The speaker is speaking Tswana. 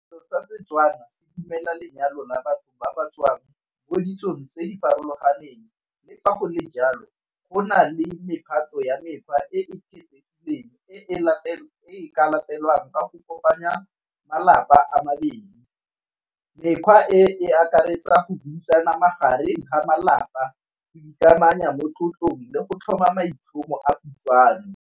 Setso sa Setswana se dumela lenyalo la batho ba ba tswang bo ditsong tse di farologaneng le fa go le jalo go na le nne phato ya mekgwa e e kgethegileng e e ka latelwang ka go kopanya malapa a mabedi. Mekgwa e, e akaretsa go buisana magareng ga malapa ikamanya mo tlotlong le go tlhoma maitlhomo a kutlwano.